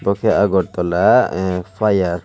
bokhe agartala ahh fire service.